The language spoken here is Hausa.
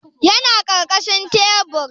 Yana karkashin tebur